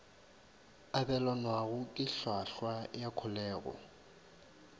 abelanwago ke hlwahlwa ya kholego